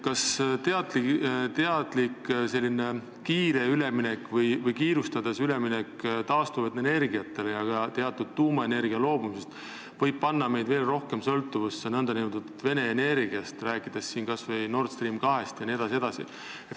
Kas selline teadlik kiire või kiirustades tehtav üleminek taastuvatele energiatele ja ka teatud tuumaenergiast loobumine ei või panna meid veel rohkem sõltuvusse nn Vene energiast, rääkides siin kas või Nord Stream 2-st?